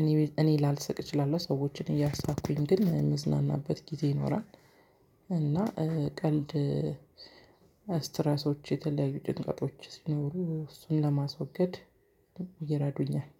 እኔ እኔ ላልስቅ እችላለሁ። ሰዎችን እያሳቅኩኝ ግን ምዝናናበት ጊዜ ይኖራል። እና ቀልድ ስትረሶች የተለያዩ ጭንቀቶች ሲኖሩ እሱን ለማስወገድ ይረዱኛል።